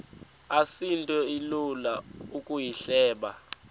asinto ilula ukuyihleba